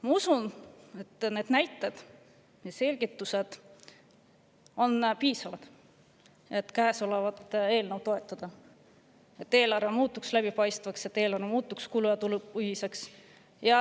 Ma usun, et need näited ja selgitused on piisavad selleks, et käesolevat eelnõu toetada, et eelarve muutuks läbipaistvaks ning kulu- ja tulupõhiseks.